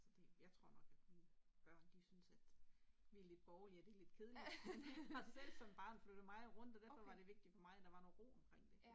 Så det jeg tror nok at mine børn de synes at vi lidt borgerlige og det lidt kedeligt men øh har selv som barn flyttet meget rundt og derfor var det vigtigt for mig at der var noget ro omkring det